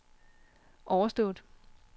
overstået